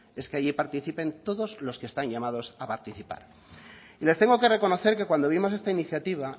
es que allí participen todos los que están llamados a participar y les tengo que reconocer que cuando vimos esta iniciativa